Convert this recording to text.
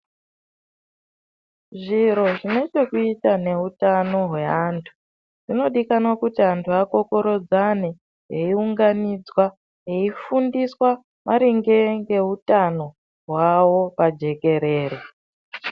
Zviro zvine chekuita neutano hweantu. Zvinodikanwa kuti antu akokorodzane eiunganidzwa eifundiswa maringe ngeutano hwavo pajekerere.